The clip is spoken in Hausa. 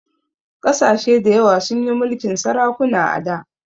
Ƙasashe dayawa sun yi mulkin sarakuna a da